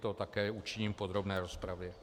To také učiním v podrobné rozpravě.